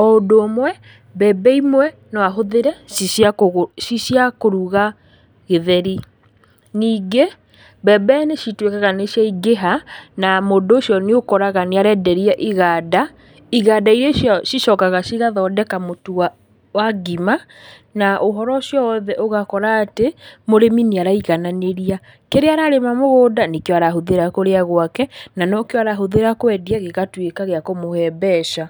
o ũndũ ũmwe, mbembe imwe, noahũthĩre ci cia kũgũ, ci cia kũruga gĩtheri, ningĩ, mbembe nĩcitwĩkaga nĩciangĩha, na mũndú ũcio nĩũkoraga nĩarenderia iganda, iganda iria ciao cicokaga igathondeka mũtu wa wa ngima, na úhoro ũcio wothe ũgakora atĩ, mũrĩmi nĩaraigananĩria, kĩrĩa ararĩma mũgũnda nĩkĩo arahũthíra kũrĩa gwake, na nokĩo arahũthĩra kwendia, gĩgatwĩka gĩa kũmũhe mbeca.